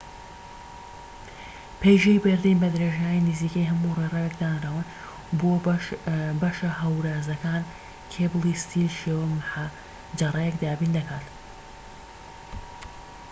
پەیژەی بەردین بە درێژایی نزیکەی هەموو ڕێڕەوێک دانراون و بۆ بەشە هەورازەکان کێبڵی ستیل شێوە محەجەرەیەک دابین دەکات